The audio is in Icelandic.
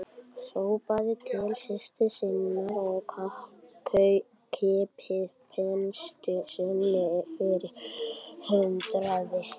Hrópaði til systur sinnar að kippa penslinum inn fyrir handriðið.